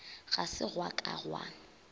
ga se gwa ka gwa